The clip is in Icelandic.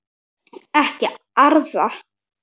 Ekki arða.